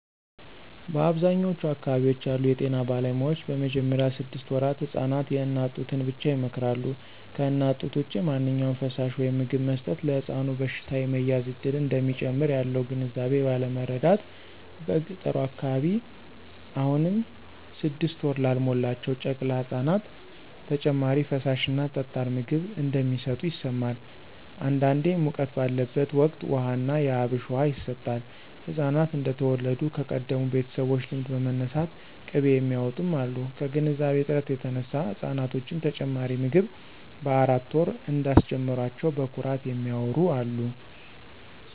በአብዛኛዎቹ አካባቢዎች ያሉ የጤና ባለሙያዎች በመጀመሪያ ስድስት ወራት ህፃናት የእናት ጡትን ብቻ ይመክራሉ። ከእናት ጡት ውጭ ማንኛውም ፈሳሽ/ምግብ መስጠት ለሕፃኑ በሽታ የመያዝ እድልን እንደሚጨምር ያለው ግንዛቤ ባለማረዳት በገጠሩ አካባቢ አሁንም ስድስት ወር ላልሞላቸው ጨቅላ ህፃናት ተጨማሪ ፈሳሽ እና ጠጣር ምግብ እንደሚሰጡ ይሰማል። አንዳንዴ ሙቀት ባለበት ወቅት ውሃ ና የአብሽ ውሃ ይሰጣል፣ ህፃናት እንደተወለዱ ከቀደሙ ቤተሰቦች ልምድ በመነሳት ቅቤ የሚያውጡም አሉ። ከግንዛቤ እጥረት የተነሳ ህፃናቶችን ተጨማሪ ምግብ በአራት ወር እንዳስጀመሯቸው በኩራት የሚያዎሩ አሉ።